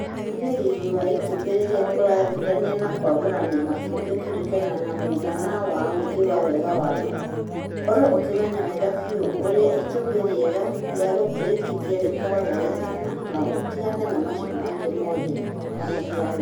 Rũmbũiya riri wa itumbĩ rĩrĩa ũrathurania ma kwamũrania matumbĩ kũringana na mũigana wa ũingĩ wa wega wamo, korwo ũkĩmenya wega biũ ũrĩa itumbĩ riega rĩagũtũrĩkithia rĩkoragwo rĩhana na ũtigane na macio mangĩ mothe , kwa mũhiano